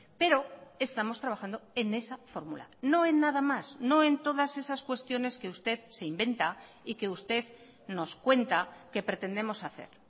pero estamos trabajando en esa fórmula no en nada más no en todas esas cuestiones que usted se inventa y que usted nos cuenta que pretendemos hacer